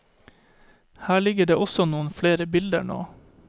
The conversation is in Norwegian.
Her ligger det også noen flere bilder nå.